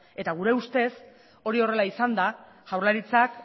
eta gure ustez hori horrela izanda jaurlaritzak